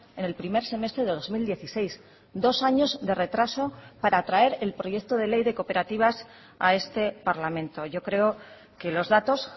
en el primer semestre de dos mil dieciséis dos años de retraso para traer el proyecto de ley de cooperativas a este parlamento yo creo que los datos